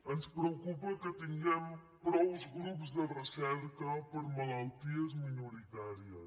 ens preocupa que tinguem prou grups de recerca per a malalties minoritàries